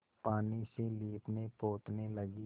पानी से लीपनेपोतने लगी